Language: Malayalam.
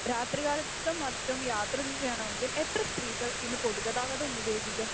രാത്രി കാലത്തും മറ്റും യാത്ര ചെയ്യണമെങ്കിൽ എത്ര സ്ത്രീകൾ ഇന്ന് പൊതുഗതാഗതം ഉപയോഗിക്കും?